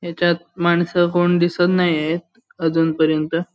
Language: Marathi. याच्यात मानस कोण दिसत नाहीत अजून पर्यन्त.